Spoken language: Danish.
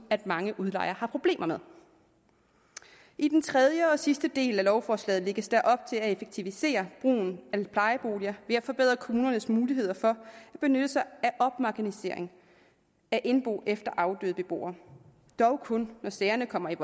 at mange udlejere har problemer med i den tredje og sidste del af lovforslaget lægges der op til at effektivisere brugen af plejeboliger ved at forbedre kommunernes muligheder for at benytte sig af opmagasinering af indbo efter afdøde beboere dog kun når sagerne kommer i